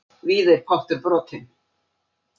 Víða er pottur brotinn.